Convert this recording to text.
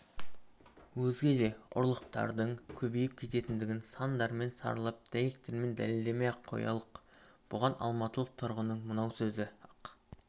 өзге де ұрлықтардың көбейіп кеткендігін сандармен саралап дәйектермен дәлелдемей-ақ қоялық бұған алматылық тұрғынның мынау сөзі-ақ